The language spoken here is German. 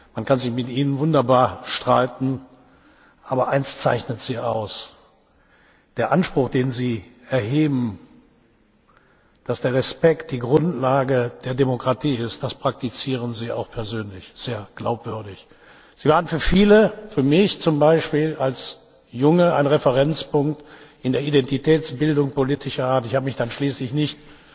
Man kann sich mit Ihnen wunderbar streiten, aber eines zeichnet Sie aus Der Anspruch, den Sie erheben, dass der Respekt die Grundlage der Demokratie ist, den praktizieren Sie auch persönlich sehr glaubwürdig. Sie waren für viele, für mich zum Beispiel als Junge, ein Referenzpunkt in der Identitätsbildung politischer Art. Ich habe mich dann schließlich nicht